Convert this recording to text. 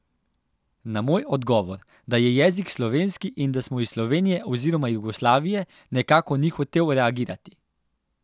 Na moj odgovor, da je jezik slovenski in da smo iz Slovenije oziroma Jugoslavije, nekako ni hotel reagirati.